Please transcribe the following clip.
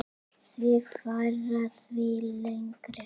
Því færra, því lengri.